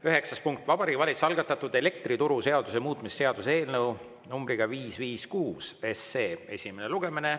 Üheksas punkt on Vabariigi Valitsuse algatatud elektrituruseaduse muutmise seaduse eelnõu numbriga 556 esimene lugemine.